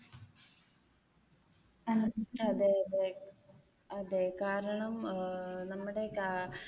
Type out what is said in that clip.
അതെ അതെ അതെ കാരണം ഏർ നമ്മുടെ